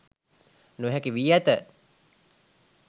නොහැකි වී ඇත